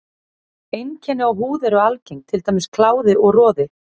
Einkenni á húð eru algeng, til dæmis kláði og roði.